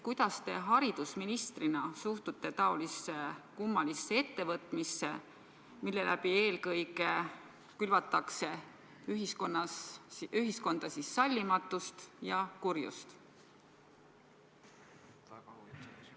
Kuidas te haridusministrina suhtute taolisse kummalisse ettevõtmisse, millega külvatakse ühiskonnas eelkõige sallimatust ja kurjust?